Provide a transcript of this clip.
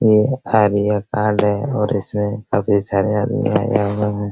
ये area card हैइसमे काफी सारे आदमी आए हुए हैं ।